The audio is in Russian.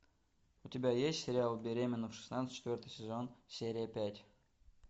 у тебя есть сериал беременна в шестнадцать четвертый сезон серия пять